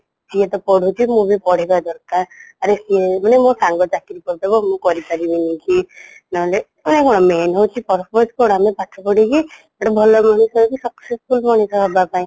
ସିଏତ ପଢୁଛି ମୁଁବି ପଢିବା ଦରକାର ଆରେ ସିଏନୁହେଁ ମୋସାଙ୍ଗ ଚାକିରୀ କରିଦେବ ମୁଁ କରିପାରିବିନିକି ନହଲେ main ହଉଚି purpose କ'ଣ ଆମେ ପାଠ ପଢିକି ଗୋଟେ ଭଲ ମଣିଷ ହେଇକି successful ମଣିଷ ହେବାପାଇଁ